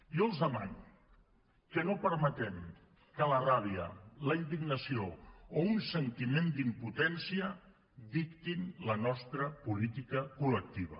jo els demano que no permetem que la ràbia la indignació o un sentiment d’impotència dictin la nostra política col·lectiva